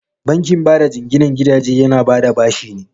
Bankin bada jinginan gidaje yana bada bashi ne.